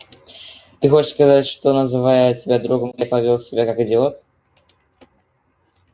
ты хочешь сказать что называя тебя другом я повёл себя как идиот